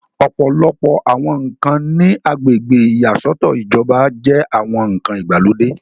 ọ̀pọ̀lọpọ̀ àwọn ǹkan ní agbègbè ìyàsọ́tọ̀ ìjọba jẹ́ àwọn ǹkan ìgbàlódé